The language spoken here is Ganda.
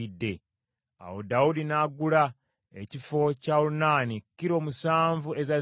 Awo Dawudi n’agula ekifo kya Olunaani kilo musanvu eza zaabu.